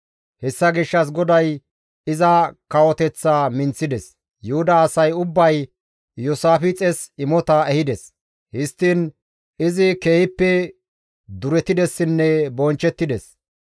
Hessa gishshas GODAY iza kawoteththaa minththides; Yuhuda asay ubbay Iyoosaafixes imota ehides; histtiin izi keehippe duretidessinne bonchchettides.